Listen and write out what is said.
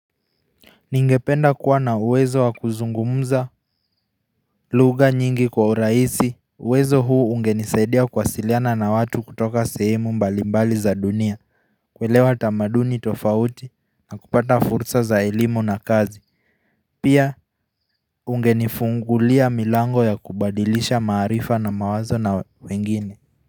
Ningependa kuwa na uwezo wa kuzungumuza lugha nyingi kwa urahisi uwezo huu ungenisaidia kuwasiliana na watu kutoka sehemu mbalimbali za dunia kuelewa tamaduni tofauti na kupata fursa za elimu na kazi Pia ungenifungulia milango ya kubadilisha maarifa na mawazo na wengine.